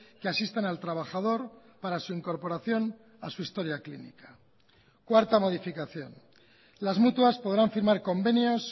que asistan al trabajador para su incorporación a su historia clínica cuarta modificación las mutuas podrán firmar convenios